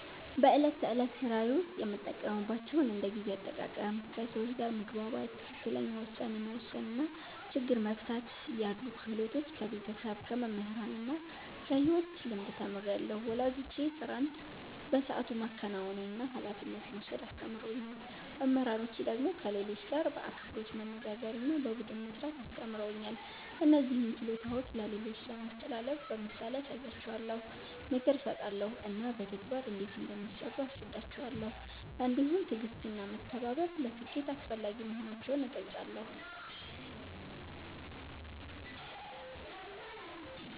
በዕለት ተዕለት ሥራዬ ውስጥ የምጠቀምባቸውን እንደ ጊዜ አጠቃቀም፣ ከሰዎች ጋር መግባባት፣ ትክክለኛ ውሳኔ መወሰን እና ችግር መፍታት ያሉ ክህሎቶች ከቤተሰብ፣ ከመምህራን እና ከሕይወት ልምድ ተምሬአለሁ። ወላጆቼ ሥራን በሰዓቱ ማከናወንና ኃላፊነት መውሰድ አስተምረውኛል። መምህራኖቼ ደግሞ ከሌሎች ጋር በአክብሮት መነጋገርና በቡድን መሥራት አስተምረውኛል። እነዚህን ችሎታዎች ለሌሎች ለማስተላለፍ በምሳሌ አሳያቸዋለሁ፣ ምክር እሰጣለሁ እና በተግባር እንዴት እንደሚሠሩ አስረዳቸዋለሁ። እንዲሁም ትዕግሥትና መተባበር ለስኬት አስፈላጊ መሆናቸውን እገልጻለሁ።